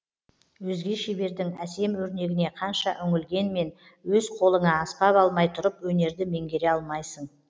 өзге шебердің әсем өрнегіне қанша үңілгенмен өз қолыңа аспап алмай тұрып өнерді меңгере алмайсың